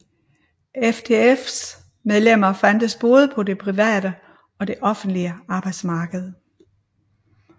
FTFs medlemmer fandtes både på det private og det offentlige arbejdsmarked